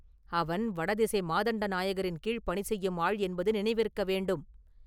அவன் வடதிசை மாதண்ட நாயகரின் கீழ் பணி செய்யும் ஆள் என்பது நினைவிருக்க வேண்டும்.